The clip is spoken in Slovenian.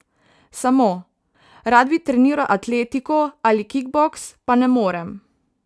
Samo: 'Rad bi treniral atletiko ali kikboks, pa ne morem.